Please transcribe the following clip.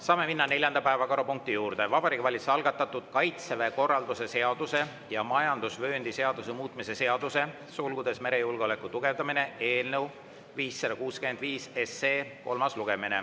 Saame minna neljanda päevakorrapunkti juurde: Vabariigi Valitsuse algatatud Kaitseväe korralduse seaduse ja majandusvööndi seaduse muutmise seaduse eelnõu 565 kolmas lugemine.